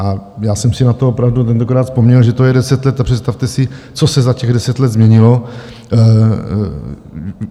A já jsem si na to opravdu tentokrát vzpomněl, že to je deset let, a představte si, co se za těch deset let změnilo.